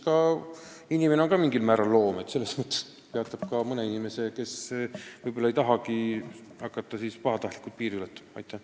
Ja inimene on ka mingis mõttes loom, küllap see peatab ka mõne inimese, kes võib-olla ei tahagi pahatahtlikult piiri ületada.